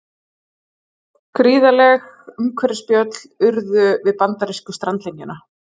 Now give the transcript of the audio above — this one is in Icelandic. Gríðarleg umhverfisspjöll urðu við bandarísku strandlengjuna